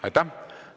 Aitäh!